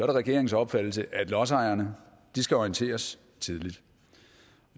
det regeringens opfattelse at lodsejerne skal orienteres tidligt